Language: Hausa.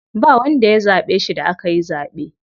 Ba wanda ya zaɓe shi da akayi zaɓe.